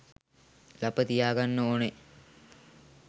ලප තියාගන්න ඕන